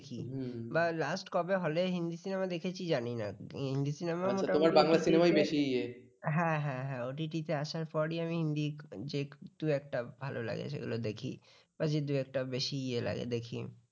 হ্যাঁ হ্যাঁ হ্যাঁ হ্যাঁ OTT আসার পরেই আমি হিন্দি যে দু-একটা ভালো লাগে সেগুলো দেখি বা যে দু-একটা বেশি ইয়া লাগে দেখি